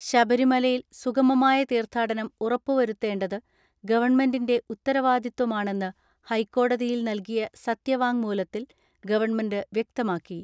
ശബരിമലയിൽ സുഗമമായ തീർത്ഥാടനം ഉറപ്പുവരുത്തേണ്ടത് ഗവൺമെന്റിന്റെ ഉത്തരാവാദിത്വമാണെന്ന് ഹൈക്കോടതിയിൽ നൽകിയ സത്യവാങ്മൂലത്തിൽ ഗവൺമെന്റ് വ്യക്തമാക്കി.